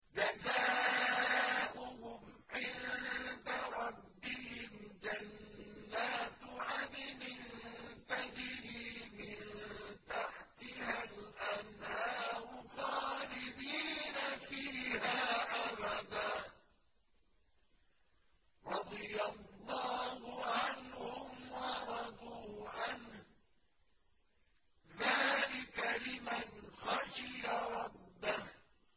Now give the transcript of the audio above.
جَزَاؤُهُمْ عِندَ رَبِّهِمْ جَنَّاتُ عَدْنٍ تَجْرِي مِن تَحْتِهَا الْأَنْهَارُ خَالِدِينَ فِيهَا أَبَدًا ۖ رَّضِيَ اللَّهُ عَنْهُمْ وَرَضُوا عَنْهُ ۚ ذَٰلِكَ لِمَنْ خَشِيَ رَبَّهُ